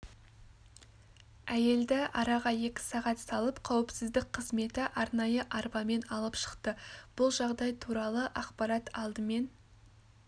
әйелді араға екі сағат салып қауіпсіздік қызметі арнайы арбамен алып шықты бұл жағдай туралы ақпарат алдымен